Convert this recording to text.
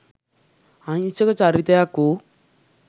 අහිංසක චරිතයක් වූ